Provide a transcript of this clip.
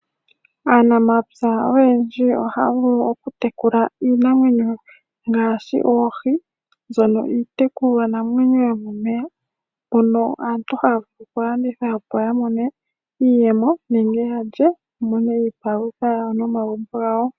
Aanamapya oyendji ohaya vulu okutekula iinamwenyo ngaashi oohi, mbyono iitekulwa namwenyo yomomeya mbyono aantu haya vulu okulanditha opo ya mone iiyemo nenge ya lye opo ya mone iipalutha momagumbo gawo.